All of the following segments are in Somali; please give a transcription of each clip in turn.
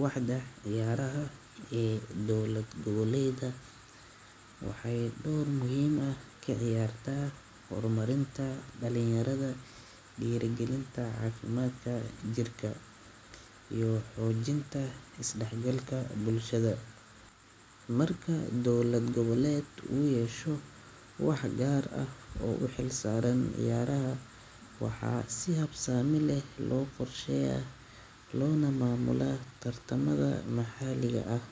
Waaxda ciyaaraha ee dowlad-goboleedyada waxay door muhiim ah ka ciyaartaa horumarinta dhalinyarada, dhiirrigelinta caafimaadka jirka, iyo xoojinta isdhexgalka bulshada. Marka dowlad-goboleed uu yeesho waax gaar ah oo u xilsaaran ciyaaraha, waxaa si habsami leh loo qorsheeyaa loona maamulaa tartamada maxalliga ah,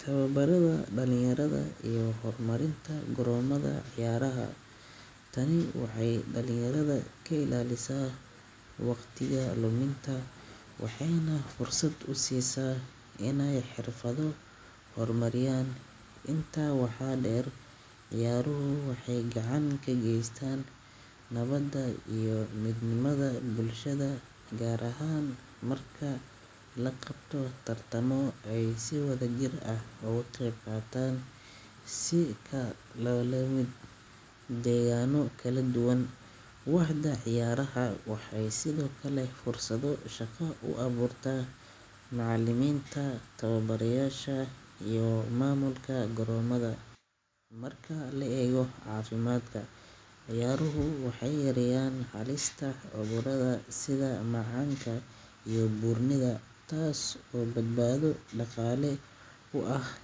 tababarrada dhalinyarada, iyo horumarinta garoomada ciyaaraha. Tani waxay dhalinyarada ka ilaalisaa waqtiga luminta, waxayna fursad u siisaa inay xirfado horumariyaan. Intaa waxaa dheer, ciyaaruhu waxay gacan ka geystaan nabadda iyo midnimada bulshada, gaar ahaan marka la qabto tartamo ay si wadajir ah uga qaybqaataan kooxo ka kala yimid deegaanno kala duwan. Waaxda ciyaaraha waxay sidoo kale fursado shaqo u abuurtaa macallimiinta, tababarayaasha, iyo maamulka garoomada. Marka la eego caafimaadka, ciyaaruhu waxay yareeyaan halista cudurrada sida macaanka iyo buurnida, taas oo badbaado dhaqaale u ah.